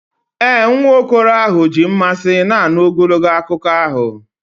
Ee, nwa okoro ahụ ji mmasị na-anụ ogologo akụkọ ahụ.